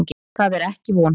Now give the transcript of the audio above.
Það er ekki von.